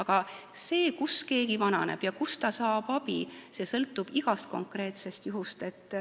Kuid see, kus keegi vananeb ja kust ta saab abi, sõltub igast konkreetsest juhust.